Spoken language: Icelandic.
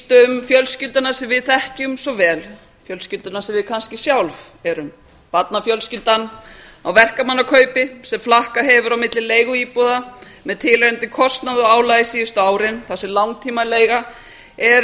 um fjölskylduna um sem við þekkjum svo vel fjölskylduna sem við kannski sjálf erum barnafjölskyldan á verkamannakaupi sem flakkað hefur á milli leiguíbúða með verulegum kostnaði og álagi síðustu árin þar sem langtímaleiga er